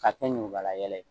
Ka kɛ ɲukubalayɛlɛ ye